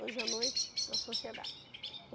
Hoje à noite, na sociedade.